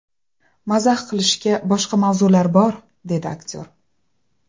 Mazax qilishga boshqa mavzular bor”, deydi aktyor.